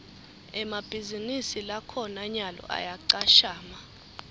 emabhizinisi lakhona nyalo ayacashana